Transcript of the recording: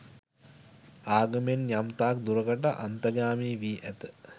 ආගමෙන් යම් තාක් දුරකට අන්තගාමී වී ඇත.